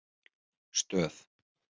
Stöð